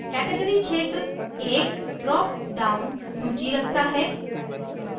category क्षेत्र एक drop down सूची रखता है